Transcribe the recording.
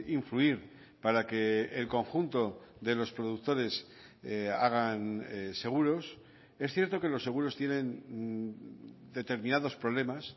influir para que el conjunto de los productores hagan seguros es cierto que los seguros tienen determinados problemas